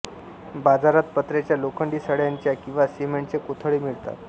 बाजारात पत्र्याच्या लोखंडी सळयांच्या किंवा सिमेंटचे कोथळे मिळतात